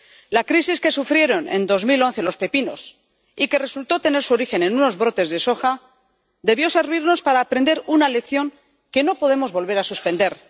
La crisis que sufrieron en 2011 los pepinos —y que resultó tener su origen en unos brotes de soja— debió servirnos para aprender una lección que no podemos volver a suspender.